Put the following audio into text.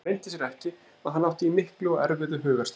Það leyndi sér ekki að hann átti í miklu og erfiðu hugarstríði.